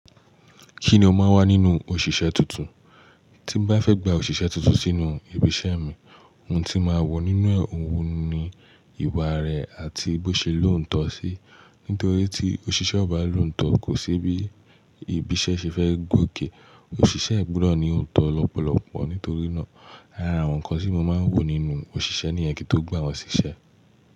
Kí ni o máa wá nínú òṣìṣẹ́ tuntun? Tí n bá fẹ́ gba òṣìṣẹ́ tuntun sínú ibi iṣẹ́ mi, ohun tí màá wọ̀ nínú òun ni ìwà rẹ̀ àti bó ṣe lóùn tọ sí. Nítorí tí òṣìṣẹ́ ò bá lóùn tọ, kò sí bí ibi iṣẹ́ ṣe fẹ́ gòkè. Òṣìṣẹ́ gbọdọ̀ ní òtọ̀ lọ́pọ̀lọpọ̀. Nítorí náà, ara àwọn nǹkan tí mo máa ń wò nínú òṣìṣẹ́ nìyẹn kí tó gba wòn ṣìṣẹ́.